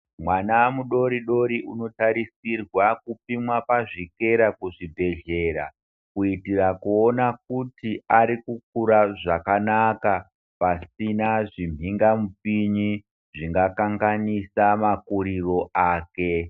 Mwana mu dori dori uno tarisirwa kupimwa pazvikera mu zvibhedhlera kuitira kuona kuti ari kukura zvakanaka pasina zvi mhinga mupini zvinga kanganisa makuriro ake.